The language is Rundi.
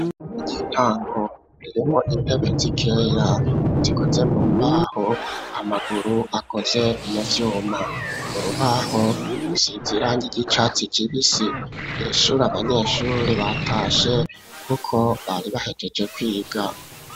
Ishuri ry'intango ririmwo intebe zikeya zikoze mu mbaho, amaguru akoze mu vyuma. Urubaho rusize irangi ry'icatsi kibisi. Iri shuri abanyeshuri batashe kuko bari bahejeje kwiga.